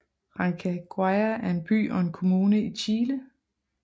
Rancagua er en by og en kommune i Chile